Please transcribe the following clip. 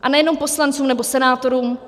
A nejenom poslancům nebo senátorům.